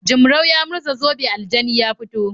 Jimrau ya murza zobe aljani ya fito.